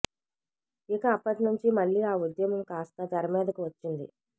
ఇక అప్పటి నుంచి మళ్ళీ ఆ ఉద్యమం కాస్తా తెరమీదకు వచ్చింది